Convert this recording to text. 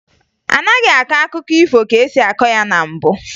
Anaghịzị akọ akụkọ ifo ka e si akọ ya na mbụ